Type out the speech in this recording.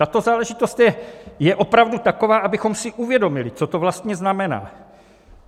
Tato záležitost je opravdu taková, abychom si uvědomili, co to vlastně znamená.